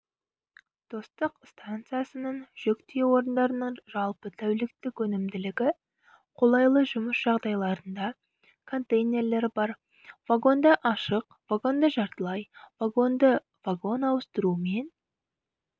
достық стансасының жүк тиеу орындарының жалпы тәуліктік өнімділігі қолайлы жұмыс жағдайларында контейнерлері бар вагонды ашық вагонды жартылай вагонды вагон ауыстыру мен